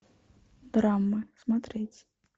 драмы смотреть